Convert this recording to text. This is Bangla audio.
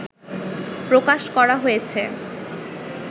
প্রকাশ করা হয়েছে